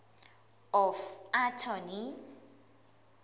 of attorney